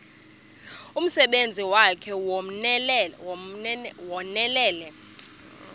umsebenzi wakhe ewunonelele